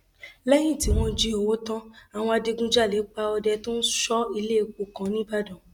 lẹyìn tí wọn jí owó tán àwọn adigunjalè pa ọdẹ tó ń sọ iléepo kan nìbàdàn